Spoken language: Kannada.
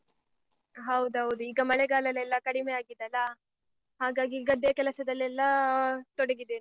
ಹೌದೌದು, ಈಗ ಮಳೆಗಾಳಲೆಲ್ಲ ಕಡಿಮೆ ಆಗಿದೆ ಅಲ್ಲಾ, ಹಾಗಾಗಿ ಗದ್ದೆಯ ಕೆಲಸದಲ್ಲೆಲ್ಲ ಆ ತೊಡಗಿದ್ದೇನೆ.